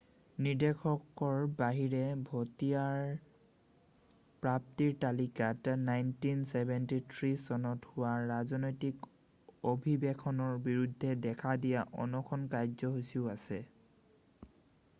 নিৰ্দেশৰ বাহিৰে ভতিয়াৰৰ প্ৰাপ্তিৰ তালিকাত 1973 চনত হোৱা ৰাজনৈতিক অভিৱেশনৰ বিৰুদ্ধে দেখা দিয়া অনশন কাৰ্যসূচীও আছে